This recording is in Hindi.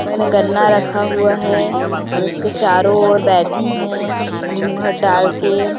इसने गन्ना रखा हुआ है और उसके चारो और बैठें है घूँघट डालके ।